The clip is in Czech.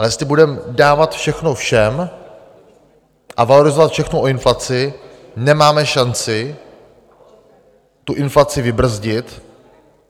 Ale jestli budeme dávat všechno všem a valorizovat všechno o inflaci, nemáme šanci tu inflaci vybrzdit